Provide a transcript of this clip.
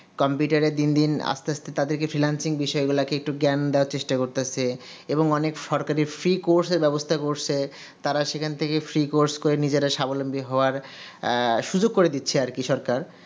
computer দিন দিন আস্তে আস্তে তাদেরকে finelsingh বিষয়গুলাকে তাদেরকে একটু জ্ঞান দেওয়া চেষ্টা করতাছে এবং অনেক সরকারি free course এর ব্যবস্থা করছে তারা সেখান থেকে free course করে নিজেরা সাবলম্বী হওয়ার সুজুগ করে দিচ্ছে আর কি সরকার